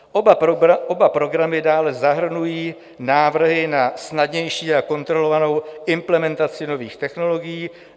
Oba programy dále zahrnují návrhy na snadnější a kontrolovanou implementaci nových technologií.